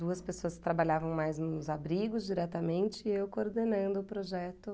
Duas pessoas que trabalhavam mais nos abrigos diretamente e eu coordenando o projeto.